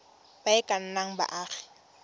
ba e ka nnang baagi